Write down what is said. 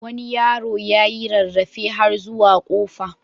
Wani yaro ya yi rarrafe har zuwa kofa.